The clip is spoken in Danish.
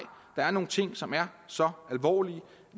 der er nogle ting som er så alvorlige